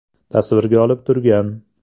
tasvirga olib turgan.